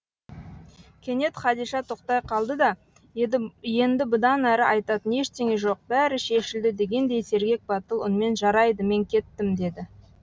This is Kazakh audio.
кенет хадиша тоқтай қалды да енді бұдан әрі айтатын ештеңе жоқ бәрі шешілді дегендей сергек батыл үнмен жарайды мен кеттім деді